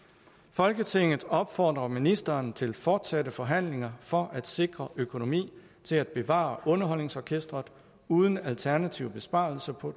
folketinget opfordrer ministeren til fortsatte forhandlinger for at sikre økonomi til at bevare underholdningsorkestret uden alternative besparelser på